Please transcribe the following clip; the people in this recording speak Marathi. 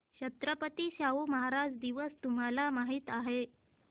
छत्रपती शाहू महाराज दिवस तुम्हाला माहित आहे